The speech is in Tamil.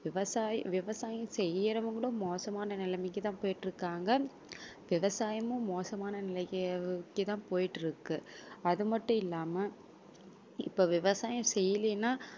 விவசாய~ விவசாயம் செய்யுறவங்களும் மோசமான நிலைமைக்கு தான் போய்க்கிட்டு இருக்காங்க விவசாயமும் மோசமான நிலைக்கு~ நிலைக்கு தான் போய்கிட்டு இருக்கு. அது மட்டும் இல்லாம இப்ப விவசாயம் செய்யலினால்